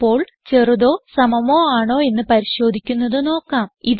ഇപ്പോൾ ചെറുതോ സമമോ ആണോ എന്ന് പരിശോധിക്കുന്നത് നോക്കാം